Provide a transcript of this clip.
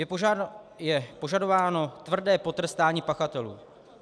Je požadováno tvrdé potrestání pachatelů.